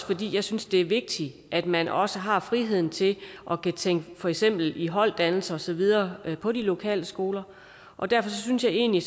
fordi jeg synes det er vigtigt at man også har friheden til at kunne tænke kunne tænke i holddannelser og så videre på de lokale skoler og derfor synes jeg egentlig